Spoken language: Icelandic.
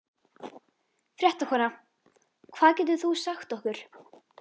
Fréttakona: Hvað getur þú sagt okkur?